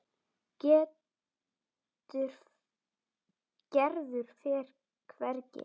Gerður fer hvergi.